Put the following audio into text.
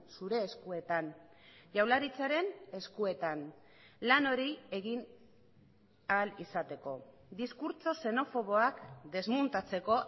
zure eskuetan jaurlaritzaren eskuetan lan hori egin ahal izateko diskurtso xenofoboak desmontatzeko